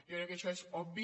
jo crec que això és obvi